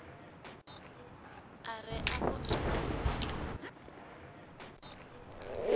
a re afho ntha ni